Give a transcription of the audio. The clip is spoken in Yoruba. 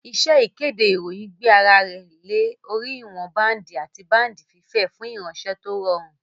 Iṣẹ́ ìkéde ìròyìn gbé ara lé orí ìwọn báǹdì àti báǹdì fífẹ̀ fún ìránṣẹ́ tó rọrùn